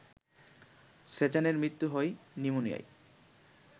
সেজানের মৃত্যু হয় নিউমোনিয়ায়